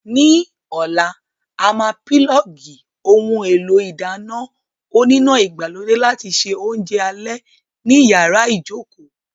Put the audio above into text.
Ní ọ̀la, a máa pílọ̀ọ̀gì ohun èlò ìdáná oníná ìgbàlódé láti se oúnjẹ alẹ́ ní yàrá ìjókòó!